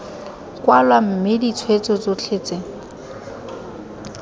kwalwa mme ditshweetso tsotlhe tse